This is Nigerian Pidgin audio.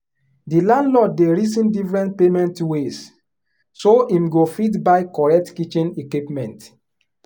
the landlord dey reason different payment ways so him go fit buy correct kitchen equipment.